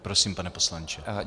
Prosím, pane poslanče.